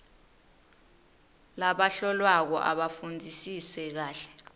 labahlolwako abafundzisise kahle